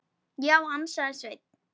Já, ansaði Sveinn.